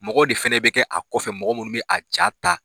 Mɔgɔw de fana bɛ kɛ a kɔfɛ mɔgɔ minnu bɛ a ja ta.